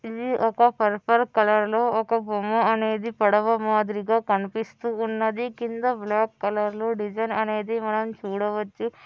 ఇది ఒక purple colour లో ఒక బొమ్మ అనేది పడమ మాదిరిగా కనిపిస్తున్నదనీ కింద బ్లాక్ కలర్ లో డిజైన్ అనేది చూడవచ్చు.